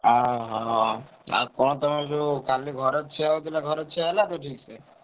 ଅହ! ଆଉ କଣ ତମର ସବୁ କାଲି ଘର ଛିଆ ହଉଥିଲା ଘର ଛିଆ ହେଲା ତ ଠିକ୍ ସେ?